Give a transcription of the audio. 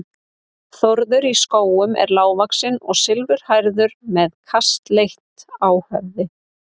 Þórður í Skógum er lágvaxinn og silfurhærður með kaskeiti á höfði.